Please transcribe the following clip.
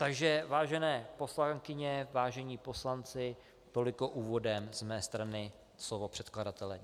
Takže vážené poslankyně, vážení poslanci, toliko úvodem z mé strany slovo předkladatele.